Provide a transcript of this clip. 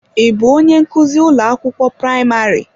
Ị bụ onye nkuzi ụlọ akwụkwọ praịmarị?